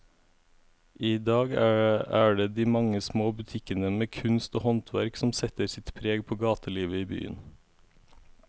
I dag er det de mange små butikkene med kunst og håndverk som setter sitt preg på gatelivet i byen.